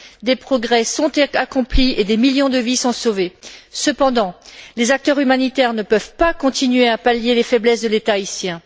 Des progrès sont accomplis et des millions de vie sont sauvées. Cependant, les acteurs humanitaires ne peuvent pas continuer à pallier les faiblesses de l'État haïtien.